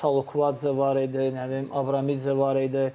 İndi Salukvadze var idi, nə bilim Abramidze var idi.